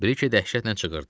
Brike dəhşətlə çığırdı.